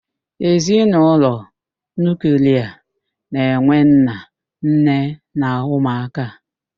Ezinaụlọ nuuklia na-enwe nna, nne na ụmụ aka.